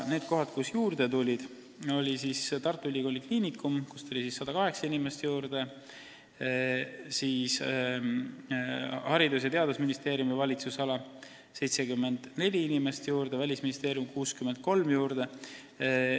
Need kohad, kus inimesi juurde tuli, olid siis Tartu Ülikooli Kliinikum, kus tuli 108 inimest juurde, Haridus- ja Teadusministeeriumi valitsusala – 74 inimest juurde – ning Välisministeerium – 63 inimest juurde.